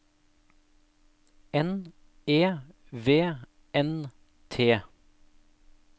N E V N T